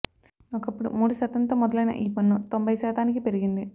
ఒకప్పుడు మూడు శాతంతో మొదలయిన ఈ పన్ను తొంభై శాతానికి పెరిగింది